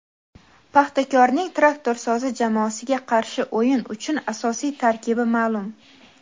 "Paxtakor"ning "Traktorsozi" jamoasiga qarshi o‘yin uchun asosiy tarkibi ma’lum.